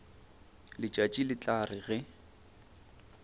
letšatši le tla re ge